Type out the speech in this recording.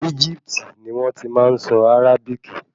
Egipti ni wọ́n ti máa nsọ Àràbíkì